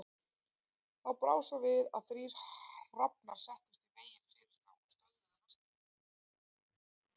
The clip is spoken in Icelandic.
Þá brá svo við að þrír hrafnar settust í veginn fyrir þá og stöðvuðu hestana.